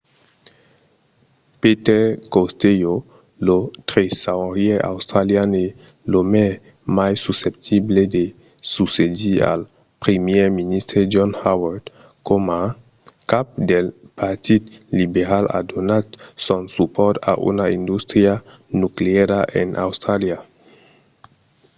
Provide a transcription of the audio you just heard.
peter costello lo tresaurièr australian e l'òme mai susceptible de succedir al primièr ministre john howard coma cap del partit liberal a donat son supòrt a una industria nucleara en austràlia